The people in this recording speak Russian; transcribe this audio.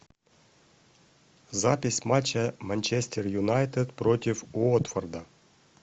запись матча манчестер юнайтед против уотфорда